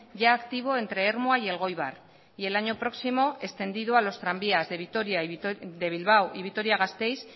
ya activo entre ermua y elgoibar y el año próximo extendido a los tranvías de bilbao y vitoria gasteiz